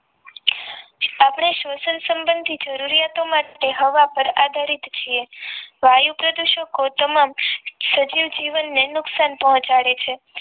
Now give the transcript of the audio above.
આપણે શોષણ સંબંધી જરૂરિયાતો માટે હવા પર આધારિત છીએ વાયુ પ્રદુષકો તમામ સજીવ જીવનને નુકસાન પહોંચાડે છે